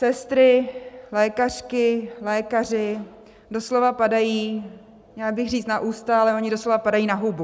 Sestry, lékařky, lékaři doslova padají, měla bych říct na ústa, ale oni doslova padají na hubu.